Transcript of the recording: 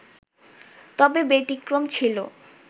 তবে ব্যতিক্রম ছিল